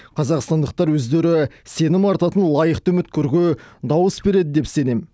қазақстандықтар өздері сенім артатын лайықты үміткерге дауыс береді деп сенемін